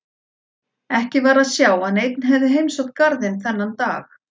Ekki var að sjá að neinn hefði heimsótt garðinn þennan dag.